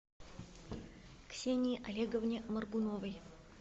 ксении олеговне моргуновой